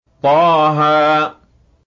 طه